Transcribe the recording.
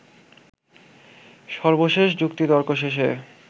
সর্বশেষ যুক্তিতর্ক শেষে